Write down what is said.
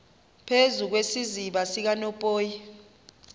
phezu kwesiziba sikanophoyi